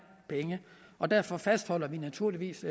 penge og derfor fastholder vi naturligvis